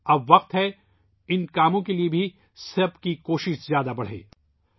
اب وقت آگیا ہے کہ ان کاموں کے لیے بھی سب کی کوششیں بڑھائی جائیں